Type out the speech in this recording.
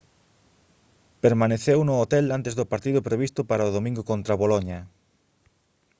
permaneceu no hotel antes do partido previsto para o domingo contra boloña